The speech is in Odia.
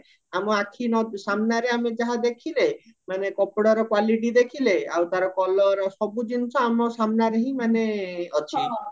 ଆମ ଆଖି ସାମ୍ନାରେ ଆମେ ଯାହା ଦେଖିଲେ ମାନେ କପଡାର quality ଦେଖିଲେ ଆଉ ତାର color ସବୁ ଜିନିଷ ଆମ ସାମ୍ନାରେହିଁ ମାନେ ଅଛି